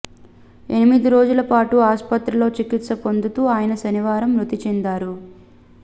ఎనిమిది రోజుల పాటు ఆసుపత్రిలో చికిత్స పొందుతూ అయన శనివారం మృతి చెందారు